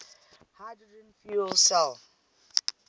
hydrogen fuel cell